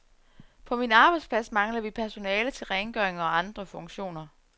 På min arbejdsplads mangler vi personale til rengøring og andre funktioner.